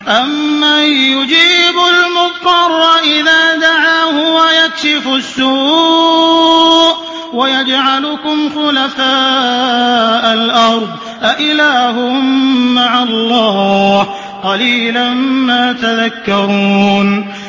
أَمَّن يُجِيبُ الْمُضْطَرَّ إِذَا دَعَاهُ وَيَكْشِفُ السُّوءَ وَيَجْعَلُكُمْ خُلَفَاءَ الْأَرْضِ ۗ أَإِلَٰهٌ مَّعَ اللَّهِ ۚ قَلِيلًا مَّا تَذَكَّرُونَ